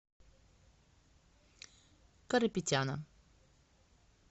карапетяна